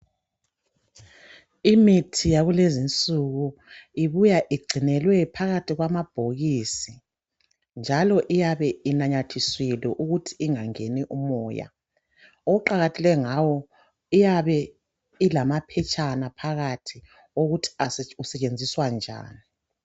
Imithi yakulezi nsuku ibuya igcinelwe phakathi kwamabhokisi njalo iyabe inanyathiselwe ukuthi ingangeni umoya okuqakathekileyo ngayo iyabe ilama phetshana phakathi wokuthi usetshenziswa njani.